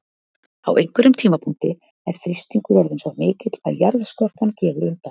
Á einhverjum tímapunkti er þrýstingur orðinn svo mikill að jarðskorpan gefur undan.